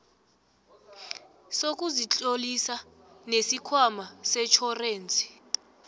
sokuzitlolisa nesikhwama setjhorensi